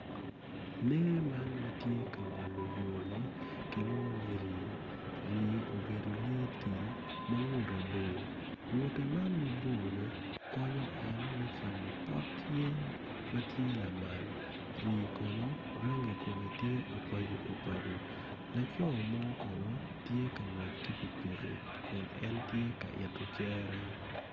Lee man ma tye ka ngolo yo-ni kilwongo ni rii rii obedo lee tim ma ngutte bor ngutte man mabor konyo en me camo pot yen ma tye lamal rii kono rangi kume tye obajobajo laco mo kono tye ka ngwec ki pikipiki kun en tye ka ito cere